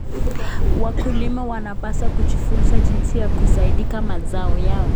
Wakulima wanapaswa kujifunza jinsi ya kusindika mazao yao.